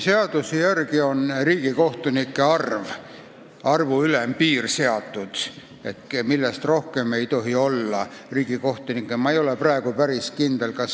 Seaduse järgi on seatud riigikohtunike arvu ülempiir, millest rohkem riigikohtunikke olla ei tohi.